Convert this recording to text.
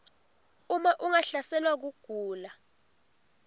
uma ungahlaselwa kugula